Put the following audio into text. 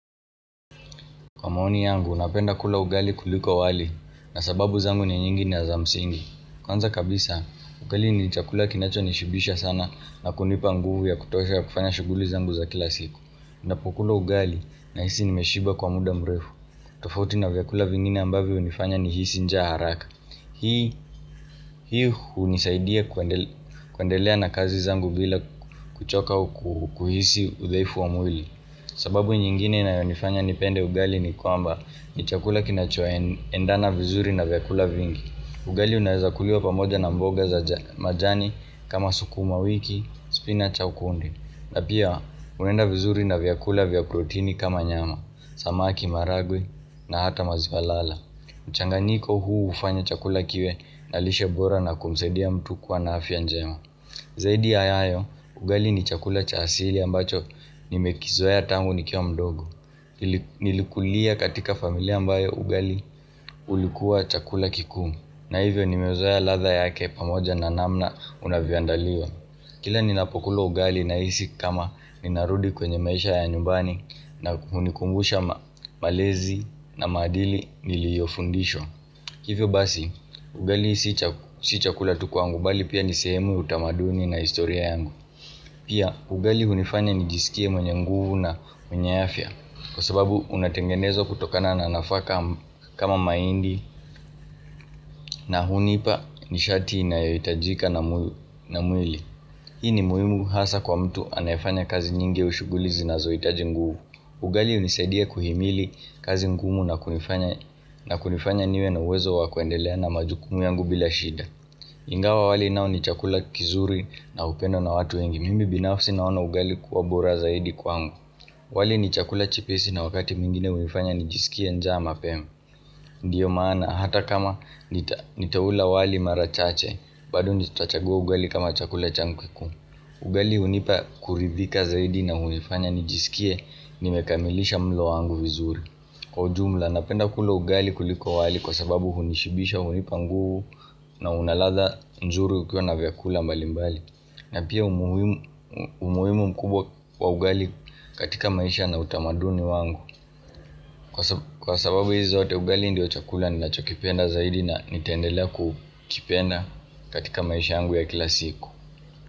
Kwa maoni yangu, napenda kula ugali kuliko wali na sababu zangu ni nyingi ni za msingi. Kwanza kabisa, ugali ni chakula kinachonishibisha sana na kunipa nguvu ya kutosha ya kufanya shughuli zangu za kila siku. Ninapokula ugali nahisi nimeshiba kwa muda mrefu. Tofauti na vyakula vingine ambavyo hunifanya nihisi njaa haraka. Hii hunisaidia kuendelea na kazi zangu bila kuchoka au kuhisi udhaifu wa mwili. Sababu nyingine inayonifanya nipende ugali ni kwamba ni chakula kinachoendana vizuri na vyakula vingi. Ugali unaezakuliwa pamoja na mboga za majani kama sukumawiki, spinach au kunde na pia unaenda vizuri na vyakula vya protini kama nyama, samaki, maharagwe na hata maziwa lala mchanganyiko huu hufanya chakula kiwe na lishe bora na kumsaidia mtu kuwa na afya njema Zaidi ya hayo, ugali ni chakula cha asili ambacho nimekizoea tangu nikiwa mdogo. Nilikulia katika familia ambayo ugali ulikuwa chakula kikuu. Na hivyo nimeuzoea ladha yake pamoja na namna unavyoandaliwa. Kila ninapokula ugali nahisi kama ninarudi kwenye maisha ya nyumbani na hunikumbusha malezi na maadili niliyofundishwa hivyo basi, ugali si chakula tu kwangu bali pia ni sehemu, utamaduni na historia yangu. Pia, ugali hunifanya nijisikie mwenye nguvu na mwenye afya kwa sababu unatengenezwa kutokana na nafaka kama mahindi na hunipa nishati inayohitajika na mwili. Hii ni muhimu hasa kwa mtu anayefanya kazi nyingi au shughuli zinazohitaji nguvu. Ugali hunisaidia kuhimili kazi ngumu na kunifanya niwe na uwezo wa kuendelea na majukumu yangu bila shida. Ingawa wali nao ni chakula kizuri na hupendwa na watu wengi. Mimi binafsi naona ugali kuwa bora zaidi kwangu. Wali ni chakula chepesi na wakati mwingine hunifanya nijisikie njaa mapema. Ndiyo maana hata kama nitaula wali mara chache bado nitachagua ugali kama chakula changu kikuu. Ugali hunipa kuridhika zaidi na hunifanya nijisikie nimekamilisha mlo wangu vizuri. Kwa ujumla napenda kula ugali kuliko wali kwa sababu hunishibisha hunipa nguvu na una ladha nzuri ukiwa na vyakula mbali mbali. Na pia umuhimu mkubwa wa ugali katika maisha na utamaduni wangu. Kwa sababu hizi zote ugali ndio chakula ninachokipenda zaidi na nitaendelea kukipenda katika maisha yangu ya kila siku.